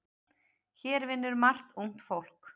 Hér vinnur margt ungt fólk.